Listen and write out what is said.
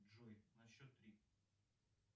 джой на счет три